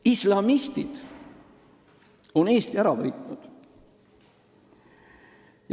Islamistid on Eesti ära võitnud.